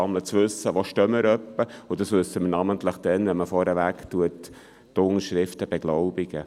Dies wissen wir namentlich dann, wenn die Unterschriften vorneweg beglaubigt werden.